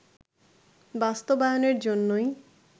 বাস্তবায়নের জন্যই